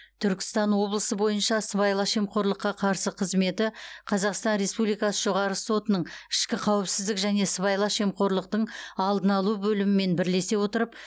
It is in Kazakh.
түркістан облысы бойынша сыбайлас жемқорлыққа қарсы қызметі қазақстан республикасы жоғарғы сотының ішкі қауіпсіздік және сыбайлас жемқорлықтың алдын алу бөлімімен бірлесе отырып